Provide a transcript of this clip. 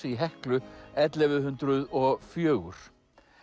í Heklu ellefu hundruð og fjögur